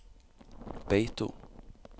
Beito